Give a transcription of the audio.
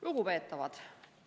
Lugupeetavad!